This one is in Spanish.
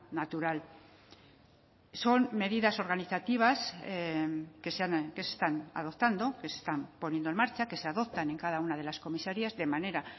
natural son medidas organizativas que se están adoptando que se están poniendo en marcha que se adoptan en cada una de las comisarías de manera